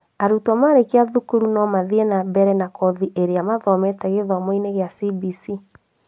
Arutwo marĩkia cukuru no mathie na mbere na kothi ĩrĩa mathomete gĩthomo-inĩ kĩa CBC